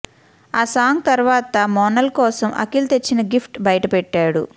ఆ సాంగ్ తరువాత మోనాల్ కోసం అఖిల్ తెచ్చిన గిఫ్ట్ బయటపెట్టాడు